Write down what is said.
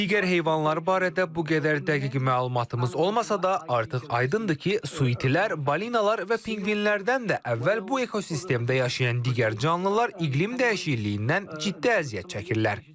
Digər heyvanlar barədə bu qədər dəqiq məlumatımız olmasa da, artıq aydındır ki, su itilər, balinalar və pinqvinlərdən də əvvəl bu ekosistemdə yaşayan digər canlılar iqlim dəyişikliyindən ciddi əziyyət çəkirlər.